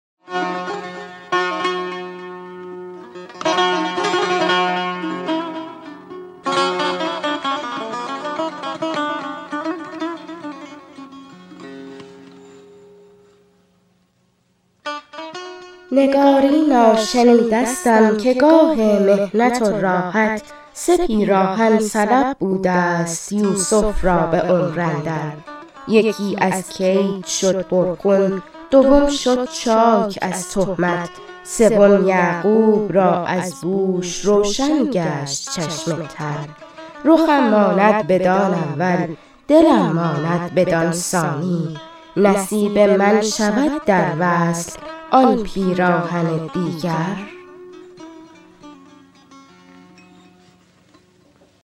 نگارینا شنیده ستم که گاه محنت و راحت سه پیراهن سلب بوده ست یوسف را به عمر اندر یکی از کید شد پر خون دوم شد چاک از تهمت سوم یعقوب را از بوش روشن گشت چشم تر رخم ماند بدان اول دلم ماند بدان ثانی نصیب من شود در وصل آن پیراهن دیگر